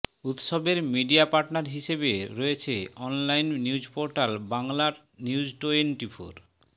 উৎসবের media partner হিসেবে রয়েছে অনলাইন নিউজ পোর্টাল বাংলানিউজটোয়েন্টিফোর